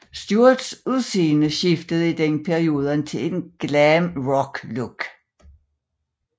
Stewarts udseende skiftede i den periode til et glam rock look